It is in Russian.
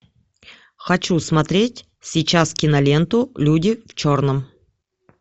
хочу смотреть сейчас киноленту люди в черном